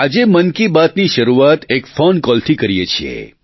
આજે મન કી બાત ની શરૂઆત એક ફોન કોલથી કરીએ છીએ